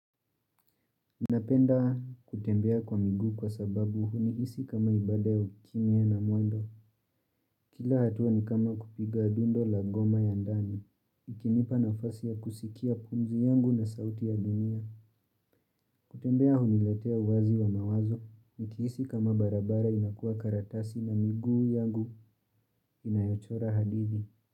Napenda kutembea kwa miguu kwa sababu hunihisi kama ibada ya ukimya na mwendo. Kila hatua ni kama kupiga dundo la goma ya ndani. Ikinipa nafasi ya kusikia pumzi yangu na sauti ya dunia. Kutembea huniletea uwazi wa mawazo. Nikihisi kama barabara inakuwa karatasi na miguu yangu inayochora hadithi.